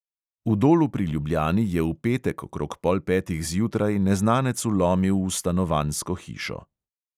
V dolu pri ljubljani je v petek okrog pol petih zjutraj neznanec vlomil v stanovanjsko hišo.